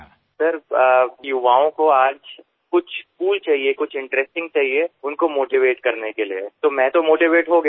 sir আজকের যুব সমাজ কিছু কুল কিছু মজার জিনিস চায় তাই তাদের অনুপ্রাণিত করতেই আমি অনুপ্রাণিত হয়েছি